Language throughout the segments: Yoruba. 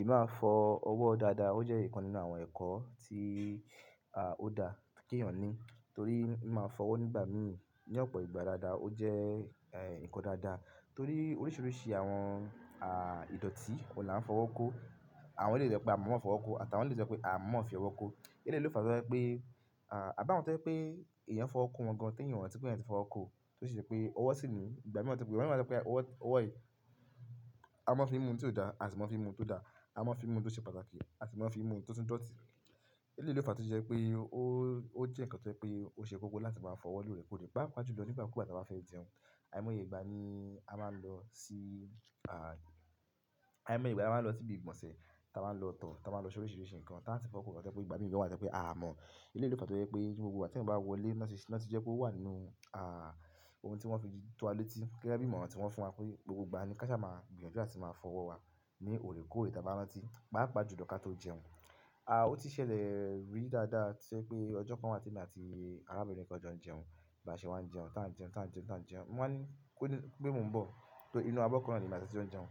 I máa fọ ọwọ dáadáa ó jẹ ǹkan nínú àwọn ẹ̀kọ to dáa k'eeyan ní. Torí mi máa ń fọwọ́ nígbà míì ní ọ̀pọ̀ ìgbà dáadáa. Ó jẹ́, ẹ́, ǹkan dáadáa torí oríṣiríṣi àwọn, à, ìdọ̀tí kò la ń fọwọ́ kó. Àwọn eléyìí to yẹ́ pé a mọ̀o mọ fọwọ́ kó àtàwọn eléyìí to jẹ́ pé a mọ̀o mọ fi ọwọ́ kó. Eléyìí lo fẹ́ to jẹ́ pé, à, à bá wọn tẹ́ ye pé èèyàn fọwọ́ kó wọn gan-an tí èèyàn ò rántí pẹ́, èèyàn tí fọwọ́ kó. Tó sì ṣe pé ọwọ́ sì ní ìgbà mìíràn tí pé, ìgbà mìíràn a ma so pé ọwọ́, ọwọ́ yìí, a ma fi mú ohun tí ó dá àsi ma an fi mú ohun tó dá, a máa fi mú ohun tó ṣe pàtàkì àsi máa n fi mú ohun tó tún dọ̀tí. E le lo fa to jẹ wi pé, ó jẹ́ ǹkan tó jẹ́ pé, ó ṣe kókó láti máa fọwọ́ lóre kore, pá pà ju lọ ni igbaku ìgbà ta ba fẹ́ jẹun. Àìmọye ìgbà ni a máa ń lọ sí, àìmọye ìgbà la máa ń lọ sí ibi ìgbọ̀nsẹ̀, táa máa ń lọ tọ̀, táa máa ń lọ sóríṣiríṣi ǹkan táa ti fọwọ́ kọ́. To je pé ìgbà míì gan wa máa tẹ́ pé a mọ̀. E le lo fa yo jẹ wípé ni gbogbo ìgbà tí eyan bá wọlé wọn sì ṣe, wọ́n ti jẹ́ ki ó wà nínú, à, ohun tí wọ́n fi tó wa létí. Gẹ́gẹ́ bí ìmọ̀ràn tí wọ́n fún wa pé gbogbo ìgbà ni ká sá máa gbìyànjú láti máa fọwọ́ wa ní òrèkóòrè táa bá rántí. Pa pà ju lọ ká tó jẹun. À, ó ti ṣẹlẹ̀ rí dáadáa ti o je pé ọjọ́ kan wà tí èmi àti arábìnrin kan jọ jẹun. B'áṣe wá ń jẹun, táa ń jẹun, táa ń jẹun, táa ń jẹun. Mo wa ní kó le, pé mo ń bọ̀. Torí inú abọ́ kan náà lemi àti e tí jó ń jẹun.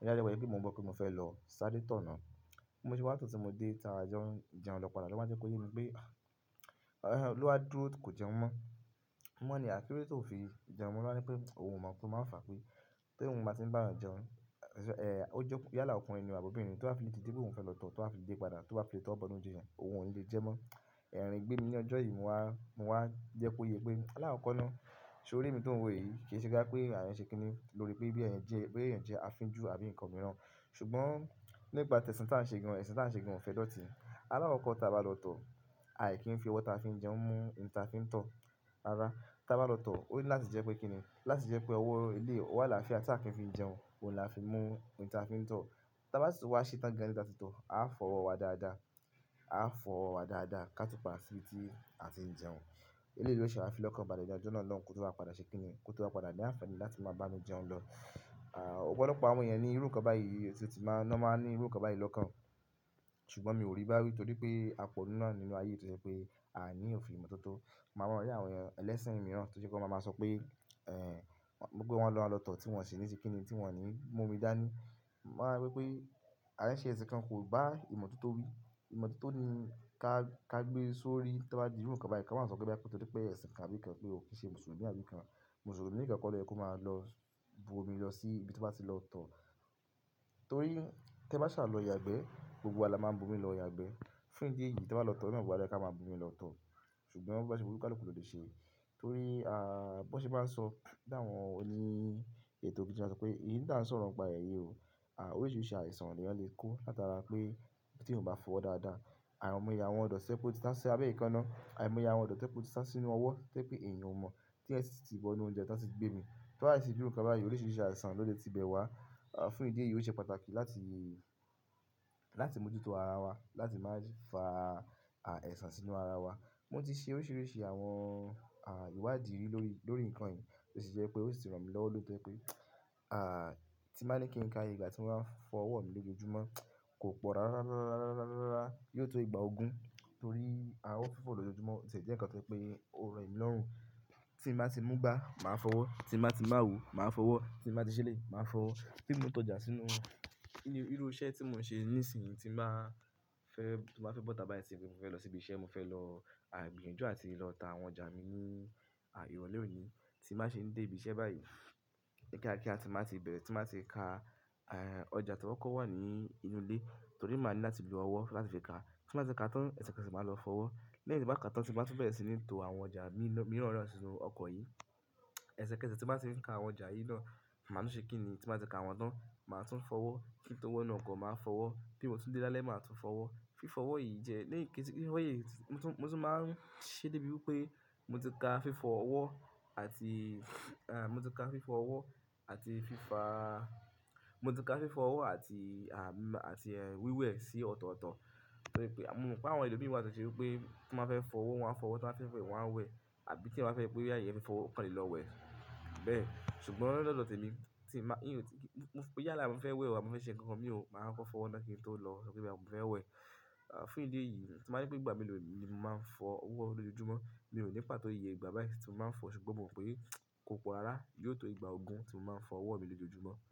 Bóyá lẹ́gbẹ̀ wí pé mo ń bọ̀ pé mo fẹ́ lọ ṣadé tọ̀ náà. Mo se wá tán tí mo dé táa jọ ń jẹun lọ padà. Lowa je kó yé mi pé, à, lowa dúró kó jẹun mọ́. Mo wa ní à, kí ló dé tí ò fi jẹun? Owa ní wipé ohun mọ̀ tó máa fà pé tó ohun ba tí ń bá eyan jẹun, ẹ̀, ó jẹ́ kí yálà ọkùnrin nì àbí obìnrin tó bá fi dìde pé òun fẹ́ lọ tọ̀, tó bá fi dé padà, tó wá fi létí ọwọ bọ inú onjẹ yẹn. Ohun ò lè jẹ́ mọ́. Ẹ̀rín gbé mi ní ọjọ́ yìí mo wá, mo wá jẹ́ kó yé pé álàkọkọ náà sórí èmi tó ń wo yìí kì í ṣe pé àwọn ṣe kíni lóori pé bí èèyàn jẹ́, pé èèyàn jẹ́ afínjú àbí ǹkan mìíràn. Ṣùgbọ́n nípà ti ẹ̀sìn tí à ń ṣe gan-an, ẹ̀sìn tí à ń ṣe gan-an ò fẹ́ dọ̀tí. Álàkọkọ táa bá lọ tọ̀, àì kí ń fi ọwọ́ táa fi ń jẹun mú nǹkan táa fi ń tọ̀, rárá. Taa bá lọ tọ̀ ó ní láti jẹ́ pé kíni? Láti jẹ́ pé ọwọ́ iléyi, ọwọ alafia ti a kí ń fi ń jẹun, òun la fi mú nǹkan táa fi ń tọ̀. Táa bá sì tun wá ṣé tán gan nibí táa ti tọ̀, a fọ́ ọwọ́ wa dáadáa. A fọ́ ọwọ́ wa dáadáa ká tó padà sí ibi tí a ti ń jẹun. Eleyi lo sẹ wa fi lọ́kàn bálẹ ni ọ̀jọ́ náà lọun kó tó wá padà ṣe kíni? Kó tó wá padà ní àǹfààní láti máa bámi jẹun lọ. À, ọ̀pọ̀lọpọ̀ àwọn èèyàn ni irú ǹkan báyìí sì ti máa ń lọ máa ń ní irú ǹkan báyìí lọ́kàn. Ṣùgbọ́n mi ò rí i bá wí torí pé a pọ̀ náà nínú ayé tó jẹ wipé àní ò fi ìmọ̀ tó tó. Mo mọ àwọn ọ̀rẹ́ àwọn ẹlẹ́sìn mìíràn tó jẹ́ kó máa máa sọ pé, ẹ́, wipé wọ́n ma lọ tọ̀ tí wọ́n sì ní se kíni tí wọ́n ní mú omi dání. Mo máa wí pé àn se ẹ̀sìn kan kò bá ìmọ̀ tó tó wí, ìmọ̀ tó tó ní ká, ká gbé e sórí táa bá di irú ǹkan báyìí. Kọ́ máa sọ pé bóyá pe torí pé ẹ̀sìn kan àbí ǹkan pé o kì í ṣe Mùsùlùmí àbí ǹkan. Mùsùlùmí nìkan kọ́ lọ yẹ kó máa lọ bu omi lọ sí ibi tobá ti lọ tọ̀. Torí tí ẹ bá ṣà lọ yàgbẹ́ gbogbo wa la máa ń bu omi lọ yàgbẹ́. Fún ìdí èyí táa bá lọ tọ̀ na gbogbo wa loyẹ ká máa bu omi lọ tọ̀. Ṣùgbọ́n boba ṣe wu oníkálukú ló lè ṣe é. Torí, à, bó ṣe bá ń sọ bí àwọn oní ètò kíriṣtì máa ń sọ pé èyí tí à ń sọ̀rọ̀ ń pa ẹ́ yi o. À, oríṣiríṣi àìsàn ni a lè kó látara pé tí ò ń bá fọwọ́ dáadáa. Àìmọye àwọn idọti tojẹ wípé wọ́n ti sasi abẹ́ẹ̀ ekánà, àìmọye àwọn idọ̀ti tojẹwipé tí wọ́n ti sa sí inú ọwọ́ tojẹ wipé èèyàn ò mọ̀ tí ẹ̀yan si ti bọ inú oúnjẹ tan ti gbé mí. To bá ṣi ti di irú ǹkan báyìí oríṣiríṣi àìsàn ló lè ti bẹ̀ wá. À, fún ìdí èyí ò ṣe pàtàkì láti, láti mójútó ara wa, láti má ṣe fa, à, àìsàn sínú ara wa. Mo ti ṣe oríṣiríṣi àwọn, à, ìwádìí lórí, lórí nǹkan yìí tó sì jẹ́ pé ó sì ràn mí lọ́wọ́ tó pé, à, tí màá ní kí n ka ayé ìgbà tí mo bá ń fọ ọwọ́ mi lójoojúmọ́ kò pọ̀ rárá, rárá, rárá, rárá, rárá, rárá, rárá, rárá, yóò tó ìgbà ogún. Torí ọwọ fífọ̀ lójoojúmọ́ òtiẹ jẹ́ ǹkan tójẹwipé ó rọ̀ èmi lọ́rùn. Tí bá ti múgbà máa fọwọ́, tí bá ti mu awo máa fọwọ́, tí mo bá ti ṣe eleyi máa fọwọ́, tí mo tó jà sínú, nínú irú iṣẹ́ tí mò ń ṣe nísìnyí tí màá fẹ́, tí mo bá fẹ́ bọ̀ tà bá yí tí mo fẹ́ lọ sí ibi iṣẹ́, mo fẹ́ lọ, à, gbìyànjú àti lọ tá àwọn ọjà mi ní, à, ìrọ̀lẹ́ òní tí màá ṣe dé ibi iṣẹ́ báyìí kíákíá tí màá ti bẹ̀rẹ̀, tí màá ti ka, ẹ́, ọjà toba kọ́ wà ní inú ilé. Torí màá ní láti lo ọwọ́ láti fi ka. Tí mba ti ka tán ẹsẹ̀kẹsẹ̀ màá lọ fọwọ́. Lẹ́yìn tí màá ka tán tí mba tún bẹ̀rẹ̀ sí ní to àwọn ọjà míì mìíràn náà sínú ọkọ̀ yìí. Ẹ̀sẹ̀kẹsẹ̀ tí màá ti ka àwọn ọjà yìí náà ma tún ṣe kíni matun fọwọ, kinto wọ inú ọkó matun fọwó, bí mo tun dele lálẹ́ matun fọwọ, fifọ ọwọ yi màá tún máa ṣe debiwipe, motí ka fifọ ọwọ àti ẹn moti. Gbogbo ẹ sii ọtọtọ tojẹ wípé moma wípé àwọn èlò mi wa tojẹ wípé tiwọn ba fẹ fọwọ won a fọwọ ti wọn ba fẹ wẹ wọn a wẹ àbí ti eyan ba fẹ fọwọ ọkàn le lọ wẹ bẹ ṣùgbọ́n ni ọdọ tèmi tinba mio ni pàtó ìyè ìgbà bayi ti momaa fọ ṣùgbọ́n momaa pe kopọ rárá yíò to ìgbà ogun ti mo máa fọwọ mi lojojumọ.